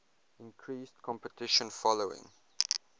increased competition following